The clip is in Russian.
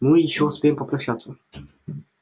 ну ещё успеем попрощаться